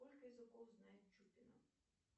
сколько языков знает чупина